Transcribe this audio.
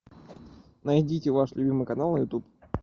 найдите ваш любимый канал на ютуб